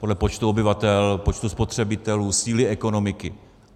Podle počtu obyvatel, počtu spotřebitelů, síly ekonomiky.